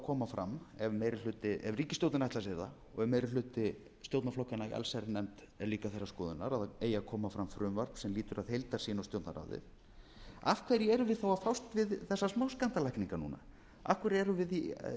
fram ef ríkisstjórnin ætlar sér það og ef meiri hluti stjórnarflokkanna í allsherjarnefnd er líka þeirrar skoðunar að það eigi að koma fram frumvarp sem lýtur að heildarsýn á stjórnarráðið af hverju erum við þá að fást við þessar smáskammtalækningar núna af hver erum